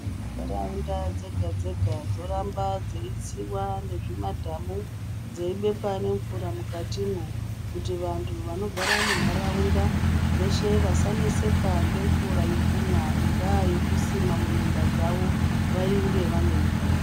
Nharaunda dzega dzega dzoramba dzeitsiiwa nezvimadhamu dzeibekwa nemvura mukatimwo kuti vantu vanogara munharaunda veshe vasaneseka ngemvura yekumwa ingava yekusima muminda dzawo vainge vane mvura.